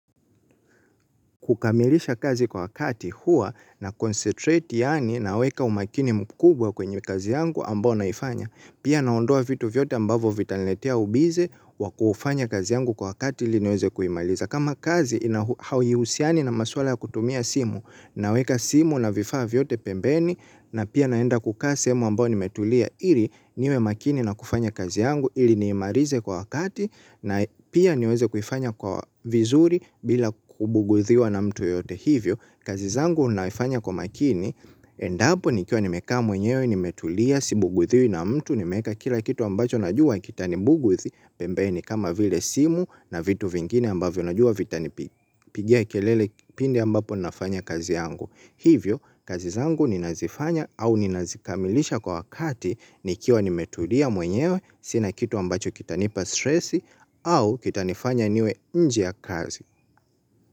Kukamilisha kazi kwa wakati huwa na concentrate yaani naweka umakini mkubwa kwenye kazi yangu ambao naifanya. Pia naondoa vitu vyote ambavyo vitaniletea ubize wakufanya kazi yangu kwa wakati ili niweze kuimaliza. Kama kazi ina hauhiusiani na maswala ya kutumia simu naweka simu na vifaa vyote pembeni na pia naenda kukaa sehemu ambayo nimetulia ili niwe makini na kufanya kazi yangu ili niimalize kwa wakati na pia niweze kuifanya kwa vizuri bila kubugudhiwa na mtu yeyote hivyo. Kazi zangu naifanya kwa makini, endapo nikiwa nimekaa mwenyewe nimetulia, si bugudhiwi na mtu nimeeka kila kitu ambacho najua kitanibugudhi, pembeni kama vile simu na vitu vingine ambavyo najua vitanipigia kelele kipindi ambapo nafanya kazi yangu. Hivyo, kazi zangu ninazifanya au ninazikamilisha kwa wakati nikiwa nimetulia mwenyewe, sina kitu ambacho kita nipa stressi au kitanifanya niwe nje ya kazi.